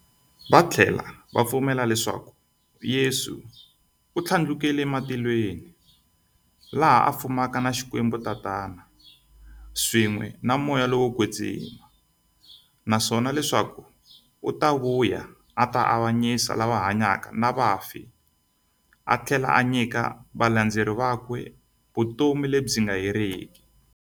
Vathlela va pfumela leswaku Yesu u thlandlukele e matilweni, laha a fumaka na XikwembuTatana, swin'we na Moya lowo kwetsima, naswona leswaku u ta vuya a ta avanyisa lava hanyaka na vafi athlela a nyika valandzeri vakwe vutomi lebyi nga heriki.